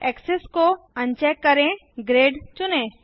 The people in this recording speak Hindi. एक्सेस को अनचेक करें ग्रिड चुनें